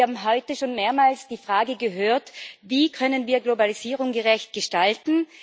Wir haben heute schon mehrmals die Frage gehört Wie können wir Globalisierung gerecht gestalten?